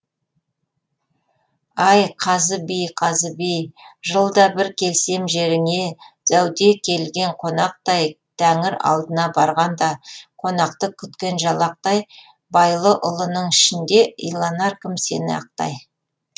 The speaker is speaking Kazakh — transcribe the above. ай қазы би қазы би жылда бір келсем жеріңе зәуде келген қонақтай тәңір алдына барғанда қонақты күткен жалақтай байұлы ұлының ішінде иланар кім сені ақтай